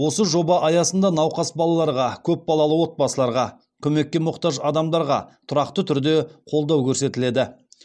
осы жоба аясында науқас балаларға көп балалы отбасыларға көмекке мұқтаж адамдарға тұрақты түрде қолдау көрсетіледі